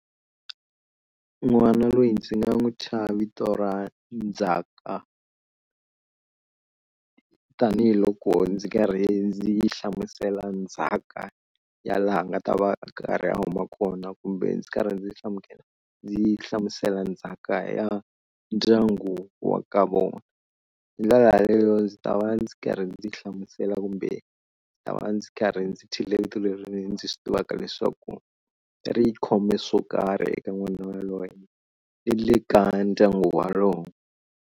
N'wana loyi ndzi nga n'wi thya vito ra Ndzhaka tanihiloko ndzi karhi ndzi hlamusela ndzhaka ya laha nga ta va a karhi a huma kona kumbe ndzi karhi ndzi hlamusela ndzi hlamusela ndzhaka ya ndyangu wa ka vona. Hi ndlela yaleyo ndzi ta va ndzi karhi ndzi hlamusela kumbe ndzi ta va ndzi karhi ndzi thyile vito leri ndzi swi tivaka leswaku ri khome swo karhi eka n'wana waloye i le ka ndyangu walowo.